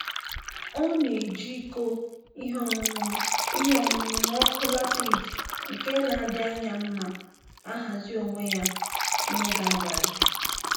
Ọ na-eji iko ihe ọṅụṅụ ihe ọṅụṅụ na ọkụ latriki nke na-adị anya mma ahazi onwe ya n'oge abalị